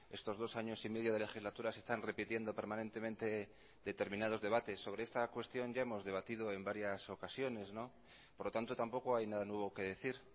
estos dos años y medio de legislatura se están repitiendo permanentemente determinados debates sobre esta cuestión ya hemos debatido en varias ocasiones por lo tanto tampoco hay nada nuevo que decir